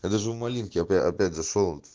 я даже у малинки опять зашёл